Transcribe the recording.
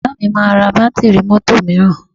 Bàbá mi máa ra bátíìrì mọ́tò mìíràn